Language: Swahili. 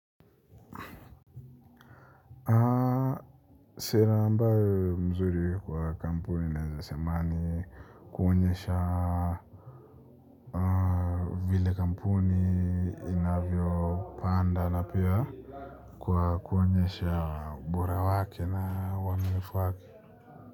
Sera ambayo ni mzuri kwa kampuni naweza sema ni kuonyesha vile kampuni inavyo panda na pia kuonyesha ubora wake na wanulifu wake.